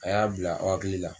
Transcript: A y'a bila aw hakili la